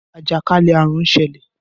Ajakalẹ̀ àrùn ń ṣẹlẹ̀